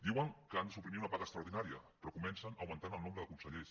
diuen que han de suprimir una paga extraordinària però comencen augmentant el nombre de consellers